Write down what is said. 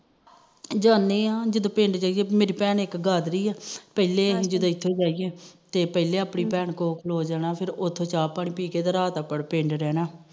ਜਾਂਦੀ ਆ ਜਦੋ ਪਿੰਡ ਜਾਈਏ ਮੇਰੀ ਭੈਣ ਇੱਕ ਗਾਦਰੀ ਆ ਪਿਹਲੇ ਜਦੋ ਇਥੋਂ ਗਈਏ ਤੇ ਪਹਿਲੇ ਆਪਣੀ ਭੈਣ ਕੋਲ ਖਲੋ ਜਾਣਾ ਫਿਰ ਉਥੋੇਂ ਚਾਹ ਪਾਣੀ ਪੀਕੇ ਤੇ ਰਾਤ ਪਿੰਡ ਰਹਿਣਾ